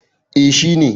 eh. shi ne